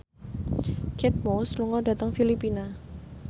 Kate Moss lunga dhateng Filipina